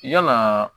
Yalaa